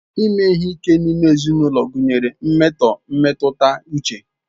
Ime ihe ike n'ime ulo gunyere mmeto mmetuta uche.